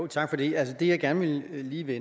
tak for det altså det jeg gerne lige vil